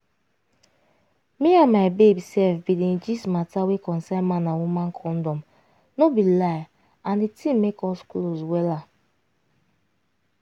me and my babe sef bin dey gist matter wey concern man and woman condom no be lie and di thing make us close wella.